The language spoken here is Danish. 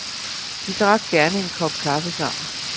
De drak gerne en kop kaffe sammen.